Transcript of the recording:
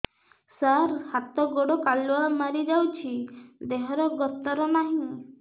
ସାର ହାତ ଗୋଡ଼ କାଲୁଆ ମାରି ଯାଉଛି ଦେହର ଗତର ନାହିଁ